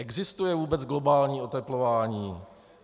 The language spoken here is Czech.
Existuje vůbec globální oteplování?